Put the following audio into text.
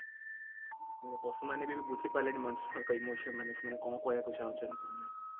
ନାଇଁ ପଶୁମାନେ ବି ଏବେ ବୁଝିପାରିଲେଣି ମଣିଷଙ୍କ emotion ମାନେ ସେମାନେ କଣ କହିବାକୁ ଚାହୁଁଛନ୍ତି କି ନାହିଁ